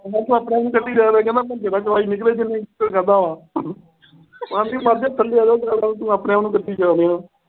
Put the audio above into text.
ਕਹਿੰਦਾ ਤੂੰ ਆਪਣੇ-ਆਪ ਨੂੰ ਕੱਢੀ ਜਾ ਰਿਹਾ। ਭੰਜੂ ਦਾ ਜਵਾਈ ਨਿਕਲਿਆ ਕਿ ਨਹੀਂ। ਫਿਰ ਕਹਿੰਦਾ ਹਾਂ। ਕਹਿੰਦੀ ਮਰ ਜਾਏਗਾ ਆਪਣੇ-ਆਪ ਨੂੰ ਕੱਢੀ ਜਾ ਰਿਹਾ।